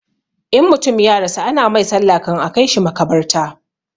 In mutum ya rasu ana mai sallah kan a kaishi makabarta